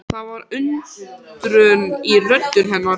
Það var undrun í rödd hennar.